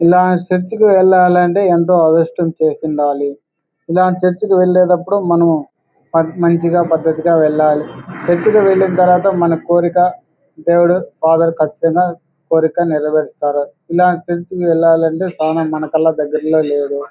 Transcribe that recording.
ఇలాంటి చర్చి కి వెళ్లాలంటే ఎంతో అదృష్టం చేసుండాలి. ఇలాంటి చర్చి కి వెళ్ళేటప్పుడు మనం మంచిగా పద్దతిగా వెళ్ళాలి. చర్చి కి వెళ్లిన తర్వాత మన కోరిక దేవుడు ఫాదర్ కచ్చితంగా కోరిక నెరవేరుస్తారు. ఇలాంటి చర్చి కి వెళ్లాలంటే మన దగ్గర్లో లేదు.